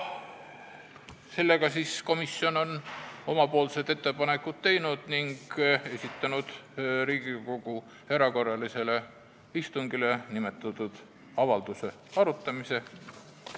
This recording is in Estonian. Seega, komisjon on oma ettepanekud teinud ning esitanud Riigikogu täiendavale istungile nimetatud avalduse arutamiseks.